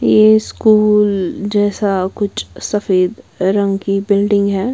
ये स्कूल जैसा कुछ सफेद रंग की बिल्डिंग है।